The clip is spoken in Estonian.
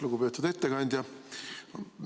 Lugupeetud ettekandja!